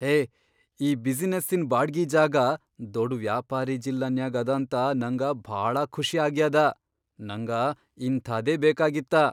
ಹೇ ಈ ಬಿಸಿನೆಸ್ಸಿನ್ ಬಾಡ್ಗಿ ಜಾಗಾ ದೊಡ್ ವ್ಯಾಪಾರೀ ಜಿಲ್ಲಾನ್ಯಾಗ್ ಅದಾಂತ ನಂಗ ಭಾಳ ಖುಷಿ ಆಗ್ಯಾದ. ನಂಗ ಇಂಥಾದೇ ಬೇಕಾಗಿತ್ತ.